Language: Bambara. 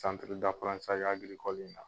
Saɔntiri dapirantisazi agirikɔli in na